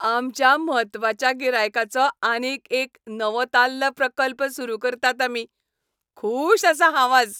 आमच्या म्हत्वाच्या गिरायकाचो आनीक एक नवोताल्ल प्रकल्प सुरू करतात आमी. खूश आसा हांव आज.